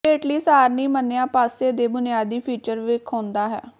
ਹੇਠਲੀ ਸਾਰਣੀ ਮੰਨਿਆ ਪਾਸੇ ਦੇ ਬੁਨਿਆਦੀ ਫੀਚਰ ਵੇਖਾਉਦਾ ਹੈ